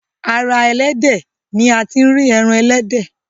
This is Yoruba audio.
ara elédè ní àti ri èràn elédè